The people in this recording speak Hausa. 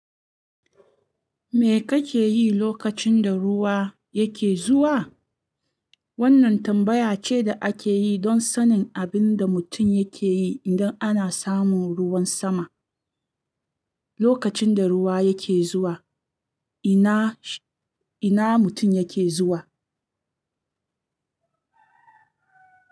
"Me kake yi lokacin da ruwa yake zuwa?" Wannan tambaya ce da ake yi don sanin abin da mutum yake yi idan ana samun ruwan sama. Lokacin da ruwa yake zuwa, ina, ina mutum yake zuwa?